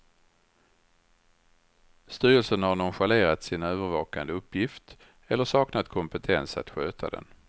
Styrelsen har nonchalerat sin övervakande uppgift, eller saknat kompetens att sköta den.